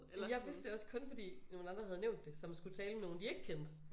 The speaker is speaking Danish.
Men jeg vidste det også kun fordi nogle andre havde nævnt det som skulle tale med nogen de ikke kendte